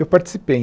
Eu participei.